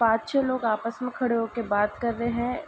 पाँच छे लोग आपस में खड़े होके बात कर रहे हैं।